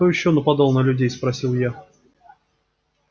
кто ещё нападал на людей спросил я